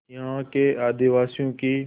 यहाँ के आदिवासियों की